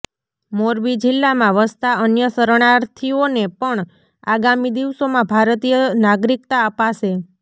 મોરબી જિલ્લામાં વસતા અન્ય શરણાર્થીઓને પણ આગામી દિવસોમાં ભારતીય નાગરિકતા અપાશે